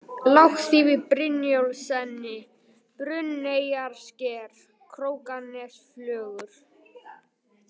Lágaþýfi, Brynjólfsenni, Brunneyjarsker, Krókanesflögur